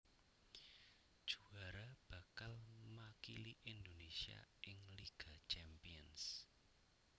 Juwara bakal makili Indonésia ing Liga Champions